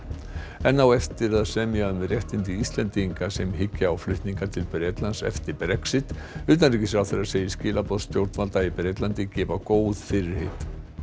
enn á eftir að semja um réttindi Íslendinga sem hyggja á flutninga til Bretlands eftir Brexit utanríkisráðherra segir skilaboð stjórnvalda í Bretlandi gefa góð fyrirheit